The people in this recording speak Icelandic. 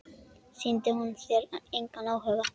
Sýndi hún þér engan áhuga?